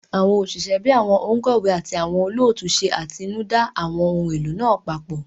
Àwọn òṣìṣẹ́ bíi àwọn òǹkọ̀wé àti àwọn olóòtú ṣe atinúdá àwọn ohun èlò náà papọ̀